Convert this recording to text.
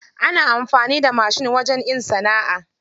Ana amfani da mashin wajen in sana'a.